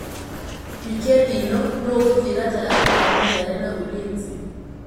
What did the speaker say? Wikendi ĩ no nũ ngũthi gatagatĩ ga Mathare na Ulinzi.